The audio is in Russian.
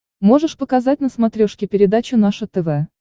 можешь показать на смотрешке передачу наше тв